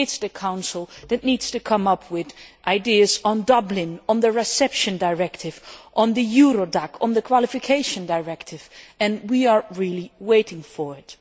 It is the Council that needs to come up with ideas on Dublin, on the Reception Directive, on the Eurodac system and on the Qualification Directive. We really are waiting for it.